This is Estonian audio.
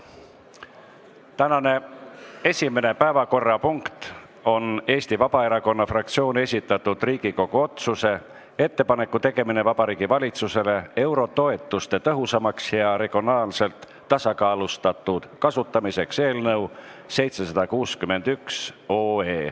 Tänane esimene päevakorrapunkt on Eesti Vabaerakonna fraktsiooni esitatud Riigikogu otsuse "Ettepaneku tegemine Vabariigi Valitsusele eurotoetuste tõhusamaks ja regionaalselt tasakaalustatud kasutamiseks" eelnõu 761.